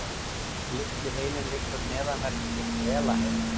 Litli heilinn liggur neðanvert við hvelaheilann.